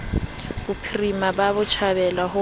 bophirima ka botjhabela ho ho